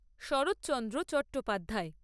Saratchandra Chattopadhyay